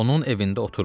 Onun evində oturmür.